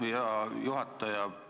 Aitäh, hea juhataja!